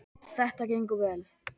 Þetta gengur vel.